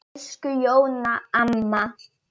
Elsku Jóna amma.